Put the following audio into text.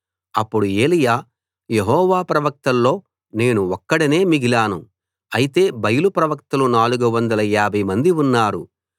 అప్పుడు ఏలీయా యెహోవా ప్రవక్తల్లో నేను ఒక్కడినే మిగిలాను అయితే బయలు ప్రవక్తలు 450 మంది ఉన్నారు